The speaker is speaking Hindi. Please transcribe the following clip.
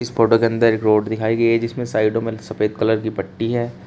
इस फोटो के अंदर एक रोड दिखाई गई है जिसमें साइडों में सफेद कलर की पट्टी है।